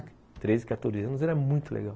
Treze, quatorze anos, era muito legal.